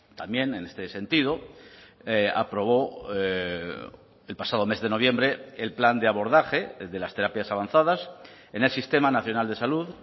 también en este sentido aprobó el pasado mes de noviembre el plan de abordaje de las terapias avanzadas en el sistema nacional de salud